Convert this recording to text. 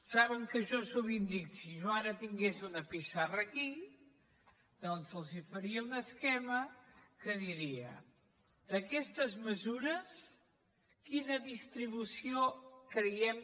saben que jo sovint dic si jo ara tingués una pissarra aquí doncs els faria un esquema que diria d’aquestes mesures quina distribució creiem